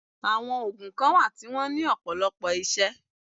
Àwọn ògùn kan wà tí wọ́n ní ọ̀pọ̀lọpọ̀ isẹ́